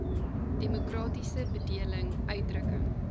demokratiese bedeling uitdrukking